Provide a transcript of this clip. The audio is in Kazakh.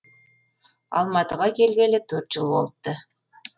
алматыға келгелі төрт жыл болыпты